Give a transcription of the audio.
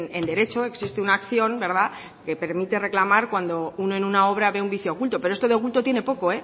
en derecho existe una acción verdad que permite reclamar cuando uno en una obra ve un vicio oculto pero esto de oculto tiene poco